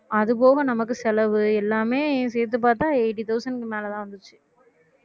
அது போக நமக்கு செலவு எல்லாமே சேர்த்து பார்த்தா eighty thousand க்கு மேல தான் வந்துச்சு